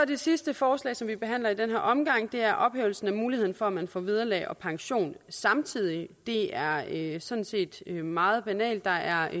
det sidste forslag som vi behandler i den her omgang er ophævelsen af muligheden for at man får vederlag og pension samtidig det er sådan set meget banalt der er